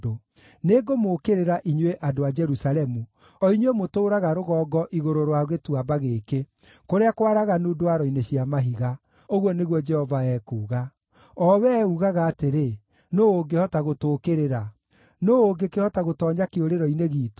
Nĩngũmũũkĩrĩra, inyuĩ andũ a Jerusalemu, o inyuĩ mũtũũraga rũgongo igũrũ rwa gĩtuamba gĩkĩ, kũrĩa kwaraganu ndwaro-inĩ cia mahiga, ũguo nĩguo Jehova ekuuga, o wee uugaga atĩrĩ, “Nũũ ũngĩhota gũtũũkĩrĩra? Nũũ ũngĩkĩhota gũtoonya kĩũrĩro-inĩ giitũ?”